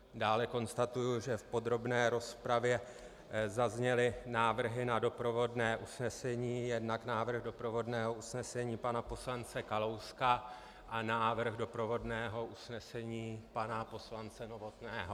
Dále konstatuji, že v podrobné rozpravě zazněly návrhy na doprovodné usnesení, jednak návrh doprovodného usnesení pana poslance Kalouska a návrh doprovodného usnesení pana poslance Novotného.